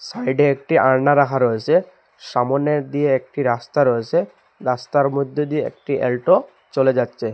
সাইডে একটি আলনা রাখা রয়েসে সামোনে দিয়ে একটি রাস্তা রয়েসে রাস্তার মধ্যে দিয়ে একটি অ্যাল্টো চলে যাচ্ছে।